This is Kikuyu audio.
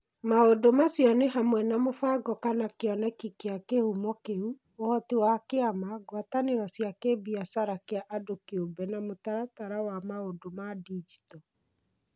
Maũndũ macio nĩ hamwe na mũbango kana kĩoneki kĩa kīhumo kĩu, ũhoti wa kĩama, ngwatanĩro cia kĩbiacara kĩa andũ kĩũmbe na mũtaratara wa maundu ma digito.